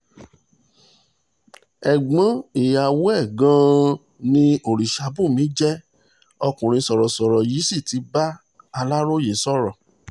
ẹ̀gbọ́n ìyàwó ẹ̀ gan-an ni ọ̀rìṣàbùnmí jẹ́ ọkùnrin sọ̀rọ̀sọ̀rọ̀ yìí sì ti bá aláròye sọ̀rọ̀